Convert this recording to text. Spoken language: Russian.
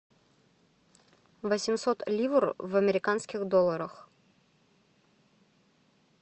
восемьсот ливр в американских долларах